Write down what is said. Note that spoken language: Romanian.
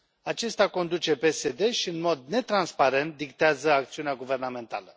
Acesta conduce PSD și, în mod netransparent, dictează acțiunea guvernamentală.